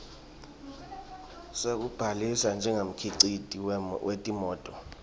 sekubhalisa njengemkhiciti wetimoti